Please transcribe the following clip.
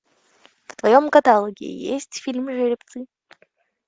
в твоем каталоге есть фильм жеребцы